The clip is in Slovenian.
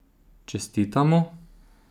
Čestitamo!